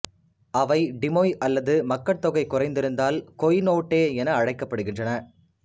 அவை டிமொய் அல்லது மக்கட்தொகை குறைந்திருந்தால் கொய்நோட்டே என அழைக்கப்படுகின்றன